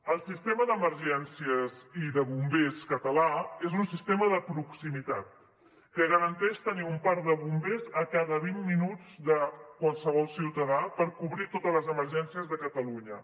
el sistema d’emergències i de bombers català és un sistema de proximitat que garanteix tenir un parc de bombers a cada vint minuts de qualsevol ciutadà per cobrir totes les emergències de catalunya